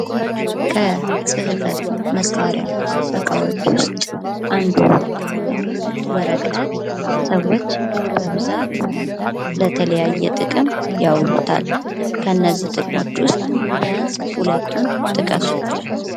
ከፅህፈት መሳሪያ እቃዎች ውስጥ አንዱ የሆነው ወረቀት ሰዎች በብዛት ለተለያዩ ጥቅም ያውሉታል። ከነዚህ ጥቅሞች ውስብ ቢያንስ ሁለቱን ጥቀሱ?